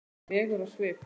legur á svip.